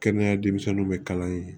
Kɛnɛya denmisɛnninw bɛ kalan ye